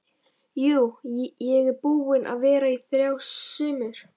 Jú, ég er búinn að vera þar í þrjú sumur